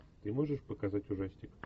ты можешь показать ужастик